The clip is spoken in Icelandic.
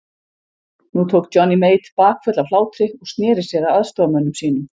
Nú tók Johnny Mate bakföll af hlátri og sneri sér að aðstoðarmönnum sínum.